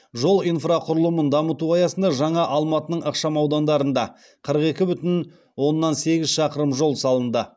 жол инфрақұрылымын дамыту аясында жаңа алматының ықшамаудандарында қырық екі бүтін оннан сегіз шақырым жол салынды